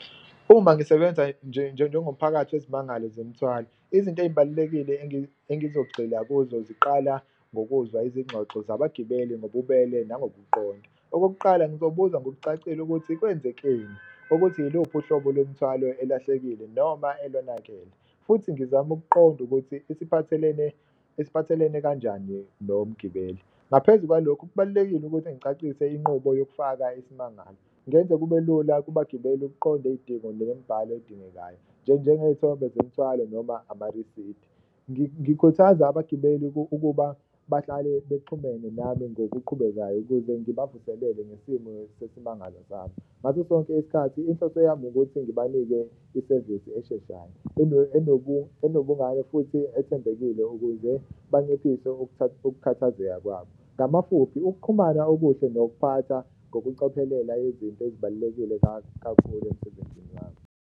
Uma ngisebenza njengomphakathi wezimangalo zemthwalo, izinto ey'balulekile engizogxila kuzo ziqala ngokuzwa izingxoxo zabagibeli ngobubele nangokuqonda. Okokuqala, ngizobuza ngokucacile ukuthi kwenzekeni, ukuthi iluphi uhlobo lwemthwalo elahlekile noma elonakele futhi ngizame ukuqonda ukuthi isiphathelene isiphathelene kanjani nomgibeli. Ngaphezu kwalokho, kubalulekile ukuthi ngicacise inqubo yokufaka isimangalo, ngenze kube lula kubagibeli ukuqonda iy'dingo nemibhalo edingekayo njengey'thombe zemithwalo noma amarisidi. Ngikhuthaza abagibeli ukuba bahlale bexhumene nami ngokuqhubekayo ukuze ngibavuselele ngesimo sesimangalo zabo, ngaso sonke isikhathi inhloso yami ukuthi ngibanike isevisi esheshayo, enobungane futhi ethembekile ukuze banciphise ukukhathazeka kwabo. Ngamafuphi, ukuxhumana okuhle nokuphatha ngokucophelela izinto ezibalulekile kakhulu emsebenzini wakhe.